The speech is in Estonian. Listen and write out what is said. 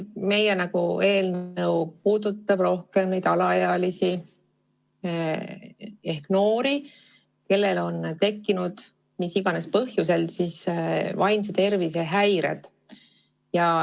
Meie eelnõu puudutab eelkõige alaealisi ehk noori, kellel on mis iganes põhjusel tekkinud vaimse tervise häired.